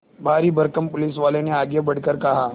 भारीभरकम पुलिसवाले ने आगे बढ़कर कहा